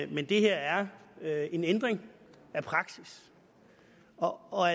men det her er en ændring af praksis og